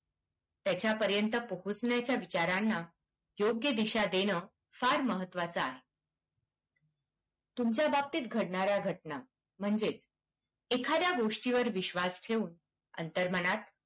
त्याच्यापर्यंत पोहोचण्याच्या विचारांना योग्य दिशा देणं फार महत्त्वाचं आहे. तुमच्या बाबतीत घडणाऱ्या घटना म्हणजेच एखाद्या गोष्टीवर विश्वास ठेवून अंतर्मनात